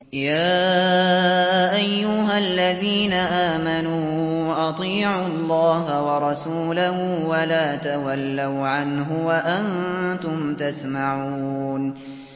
يَا أَيُّهَا الَّذِينَ آمَنُوا أَطِيعُوا اللَّهَ وَرَسُولَهُ وَلَا تَوَلَّوْا عَنْهُ وَأَنتُمْ تَسْمَعُونَ